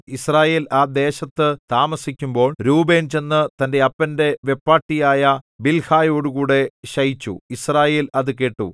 യിസ്രായേൽ ആ ദേശത്തു താമസിക്കുമ്പോൾ രൂബേൻ ചെന്നു തന്റെ അപ്പന്റെ വെപ്പാട്ടിയായ ബിൽഹായോടുകൂടെ ശയിച്ചു യിസ്രായേൽ അതുകേട്ടു